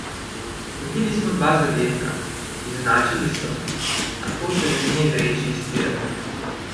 Dobili smo dva zadetka, izenačili so, a to te ne sme vreči iz tira.